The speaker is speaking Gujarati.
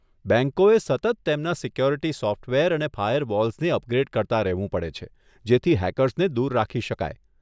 બેંકોએ સતત તેમના સિક્યુરિટી સોફ્ટવેર અને ફાયરવોલ્સને અપગ્રેડ કરતા રહેવું પડે છે, જેથી હેકર્સને દૂર રાખી શકાય.